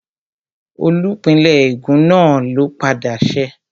Olùpìnlẹ́ ègún náà ló padà ṣẹ́